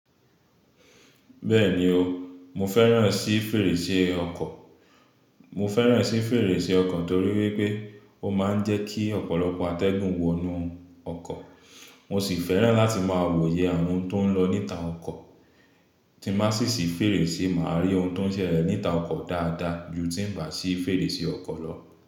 Bẹ́ẹ̀ni o, mo fẹ́ràn sí fèrèsé ọkọ̀. Mo fẹ́ràn sí fèrèsé ọkọ̀ torí wípé ó máa ń jẹ́ kí ọ̀pọ̀lọpọ̀ atẹ́gùn wọnú ọkọ̀. Mo sì fẹ́ràn láti máa wòye àwon oun tó ń lọ níta ọkọ̀. Tí má sì sì fèrèsé, mà á rí ohun tó ń ṣẹlẹ̀ níta ọkọ̀ dáadáa ju tí ń bà sí fèrèsé ọkọ̀ lọ.